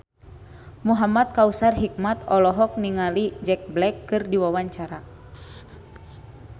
Muhamad Kautsar Hikmat olohok ningali Jack Black keur diwawancara